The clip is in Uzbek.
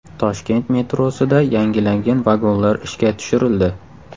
Toshkent metrosida yangilangan vagonlar ishga tushirildi.